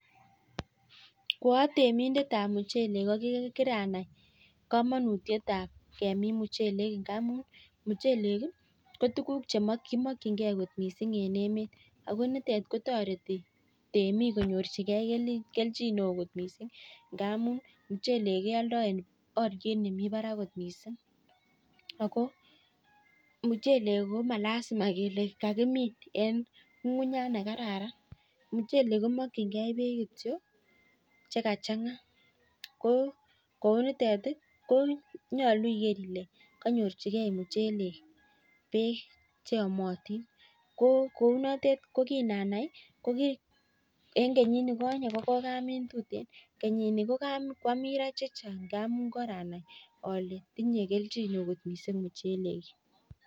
Ko atemindetab mchelek ko kiranai komonutietab kemin muchelek. Ndamun mchelek ko tukuk che kimakchingei kot mising eng emet. Ako nitok kotoreti temik konyorchingei kelchin neo kot mising. Ndamun mchelek keoldoi eng oliet nemi barak kot mising. Ako mchelek ko malasima kele kakimin eng ng'ung'unyat ne kararan. Mchelek komakchingei beek che kachang'a kou noto konyolu iker ile kanyorchikei mchelek beek cheyomatin. ko kounotet ko kinanai ko ki eng kenyit ne konye ko kwakamin tuteen. kenyini ko kwamin ra chechan'g ngamun koranai ale tinyei kelchino kot mising mchelek.